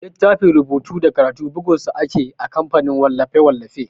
Littafin rubutu da karatu bugun sa ake a kamfanin wallafe-wallafe.